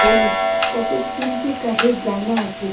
হলুদ কতক তিনটি কাঠের জানলা আছে।